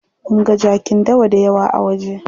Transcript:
Munga jakin dawa dayawa a waje.